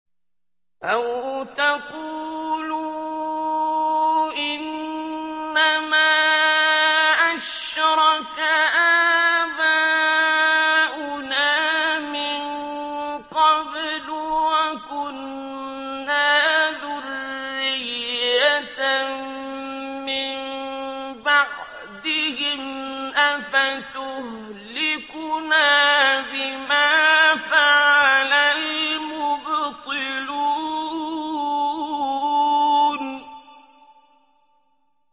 أَوْ تَقُولُوا إِنَّمَا أَشْرَكَ آبَاؤُنَا مِن قَبْلُ وَكُنَّا ذُرِّيَّةً مِّن بَعْدِهِمْ ۖ أَفَتُهْلِكُنَا بِمَا فَعَلَ الْمُبْطِلُونَ